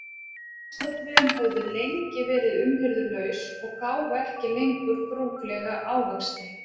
Ávaxtatrén höfðu lengi verið umhirðulaus og gáfu ekki lengur brúklega ávexti.